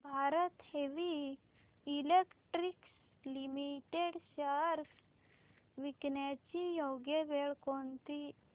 Bharat heavy electricals limited shares विकण्याची योग्य वेळ कोणती